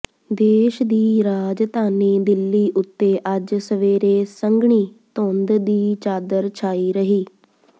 ਦੇਸ਼ ਦੀ ਰਾਜਧਾਨੀ ਦਿੱਲੀ ਉੱਤੇ ਅੱਜ ਸਵੇਰੇ ਸੰਘਣੀ ਧੁੰਦ ਦੀ ਚਾਦਰ ਛਾਈ ਰਹੀ